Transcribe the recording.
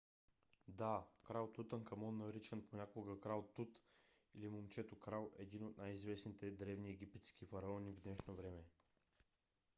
да! крал тутанкамон наричан понякога крал тут или момчето-крал е един от най - известните древни египетски фараони в днешно време.